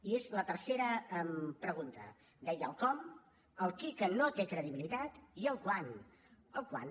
i és la tercera pregunta deia el com el qui que no té credibilitat i el quant el quant